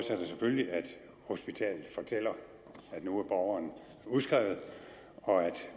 hospitalet fortæller at nu er borgeren udskrevet og at